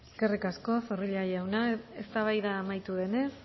eskerrik asko zorrilla jauna eztabaida amaitu denez